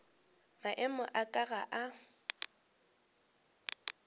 maemo a ka ga a